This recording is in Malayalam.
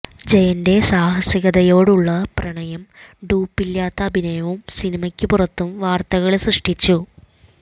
ജയന്റെ സാഹസികതയോടുള്ള പ്രണയവും ഡ്യൂപ്പില്ലാത്ത അഭിനയവും സിനിമക്ക് പുറത്തും വാര്ത്തകള് സൃഷ്ടിച്ചു